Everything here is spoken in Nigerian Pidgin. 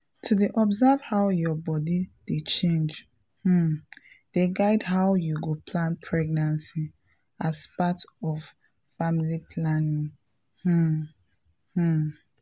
to dey observe how your body dey change um dey guide how you go plan pregnancy as part of family planning um. um